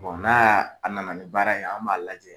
n'a y'a a nana ni baara ye an b'a lajɛ.